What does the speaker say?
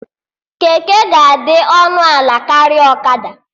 Keke ga-adị ọnụ ala karịa ọkada